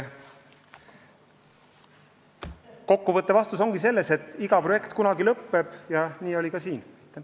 Kokku võttev vastus ongi, et iga projekt kunagi lõppeb, ja nii oli ka siinsel juhul.